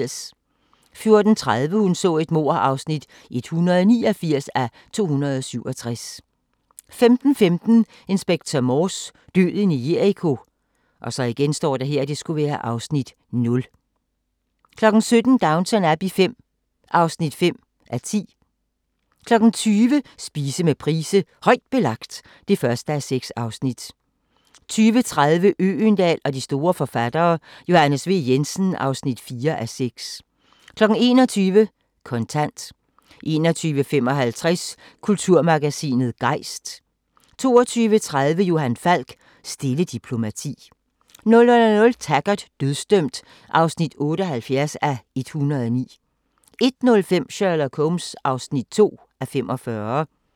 14:30: Hun så et mord (189:267) 15:15: Inspector Morse: Døden i Jericho (Afs. 0) 17:00: Downton Abbey V (5:10) 20:00: Spise med Price: "Højt Belagt" (1:6) 20:30: Øgendahl og de store forfattere: Johannes V. Jensen (4:6) 21:00: Kontant 21:55: Kulturmagasinet Gejst 22:30: Johan Falk: Stille diplomati 00:00: Taggart: Dødsdømt (78:109) 01:05: Sherlock Holmes (2:45)